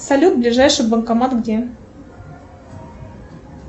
салют ближайший банкомат где